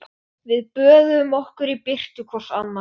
Ég virðist sköpuð til að elda góðan mat.